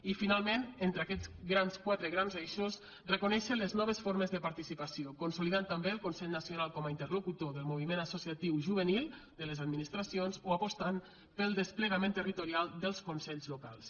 i finalment entre aquests quatre grans eixos reconèixer les noves formes de participació consolidant també el consell nacional com a interlocutor del moviment associatiu juvenil de les administracions o apostant pel desplegament territorial dels consells locals